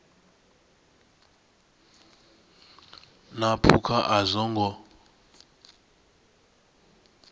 na phukha a zwo ngo